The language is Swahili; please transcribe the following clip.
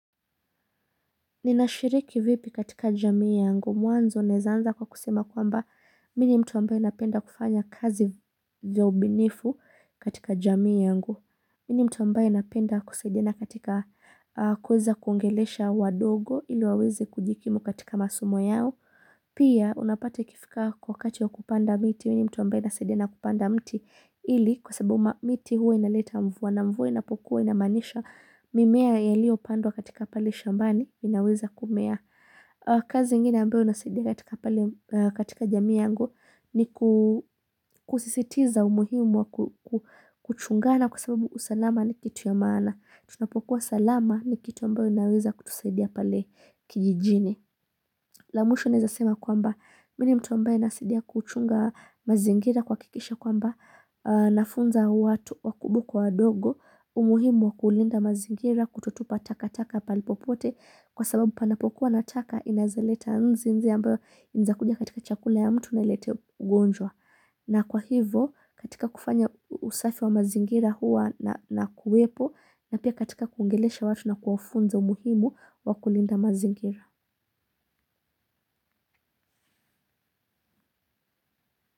Ninashiriki vipi katika jamii yangu. Mwanzo naeza anza kwa kusema kwamba mi ni mtu ambaye napenda kufanya kazi za ubunifu katika jamii yangu. Mi ni mtu ambaye napenda kusaidina katika kuweza kuongelesha wadogo ili waweze kujikimu katika masomo yao. Pia unapata ikifika wakati wa kupanda miti mi ni mtu ambaye nasaidiana kupanda mti ili kwa sababu miti huwa inaleta mvua na mvua inapokuwa inamaanisha mimea yaliyopandwa katika pale shambani inaweza kumea. Kazi ingine ambayo nasaidia katika pale katika jamii yangu ni kusisitiza umuhimu wa kuchungana kwa sababu usalama ni kitu ya maana. Tunapokuwa salama ni kitu ambayo inaweza kutusaidia pale kijijini. La mwisho naeza sema kwamba mi ni mtu ambaye nasaidia kuchunga mazingira kuhakikisha kwamba nafunza watu wakubwa kwa wadogo. Umuhimu wa kulinda mazingira kutotupa taka taka pahali popote kwa sababu panapokuwa na taka inaeza leta nzi, nzi ambayo inaeza kuja katika chakula ya mtu nailete ugonjwa. Na kwa hivo katika kufanya usafi wa mazingira huwa nakuwepo na pia katika kuongelesha watu na kuwafunza umuhimu wa kulinda mazingira.